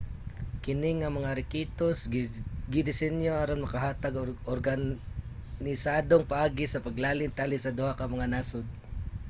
kini nga mga rekisitos gidesinyo aron makahatag og organisadong paagi sa paglalin tali sa duha ka mga nasod